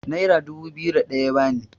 naira dubu biyu da ɗaya ya bani